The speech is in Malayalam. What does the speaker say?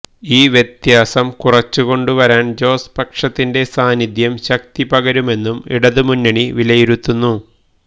ഈ വ്യത്യാസം കുറച്ചുകൊണ്ടുവരാന് ജോസ് പക്ഷത്തിെൻറ സാന്നിധ്യം ശക്തിപകരുമെന്നും ഇടതുമുന്നണി വിലയിരുത്തുന്നു